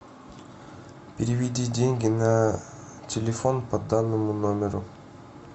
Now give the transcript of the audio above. переведи деньги на телефон по данному номеру